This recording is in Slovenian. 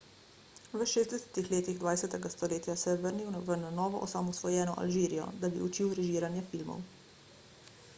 v 60 letih 20 stoletja se je vrnil v na novo osamosvojeno alžirijo da bi učil režiranje filmov